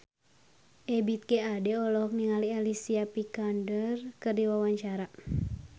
Ebith G. Ade olohok ningali Alicia Vikander keur diwawancara